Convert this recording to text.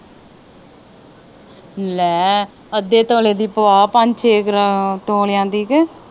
ਲੈ ਅੱਧੇ ਤੋਲੇ ਦੀ ਪਵਾ ਪੰਜ ਛੇ ਤੋਲਿਆ ਦੀ ਕੇ